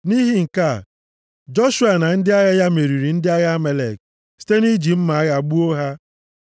Nʼihi nke a, Joshua na ndị agha ya meriri ndị agha Amalek site nʼiji mma agha gbuo ha.